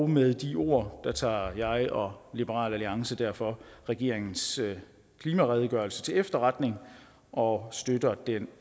med de ord tager jeg og liberal alliance derfor regeringens klimaredegørelse til efterretning og støtter det